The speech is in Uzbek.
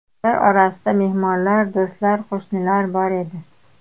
Ular orasida mehmonlar, do‘stlar, qo‘shnilar bor edi.